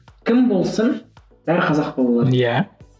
кім болсын бәрі қазақ болу керек иә